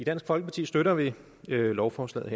dansk folkeparti støtter vi lovforslaget